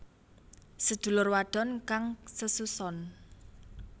Sedulur wadon kang sesuson